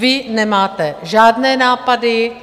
Vy nemáte žádné nápady.